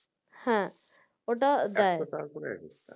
হ্যাঁ ওটা দেয়